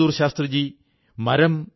മാനനീയ പ്രധാനമന്ത്രി ജീ വണക്കം